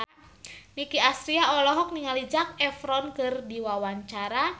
Nicky Astria olohok ningali Zac Efron keur diwawancara